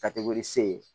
Ka tɛg'olu se ye